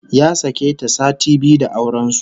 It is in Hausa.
Ya sake ta sati biyu da auren su